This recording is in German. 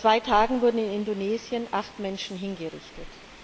Vor zwei Tagen wurden in Indonesien acht Menschen hingerichtet.